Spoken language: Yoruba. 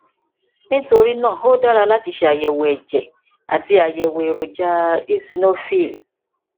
nítorí náà ó dára láti ṣe àyẹwò ẹjẹ àti àyẹwò èròjà eosinophil